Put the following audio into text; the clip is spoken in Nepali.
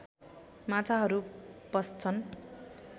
माछाहरू पस्छन्